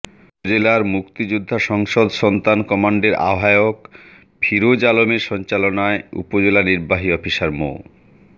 উপজেলা মুক্তিযোদ্ধা সংসদ সন্তান কমান্ডের আহ্বায়ক ফিরোজ আলমের সঞ্চালনায় উপজেলা নির্বাহী অফিসার মো